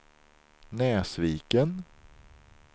Näsviken